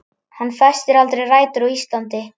Hann festir aldrei rætur á Íslandi.